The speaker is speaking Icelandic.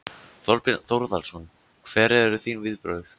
Þorbjörn Þórðarson: Hver eru þín viðbrögð?